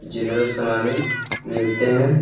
General समाने मिलते है।